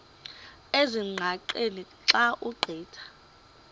ezingqaqeni xa ugqitha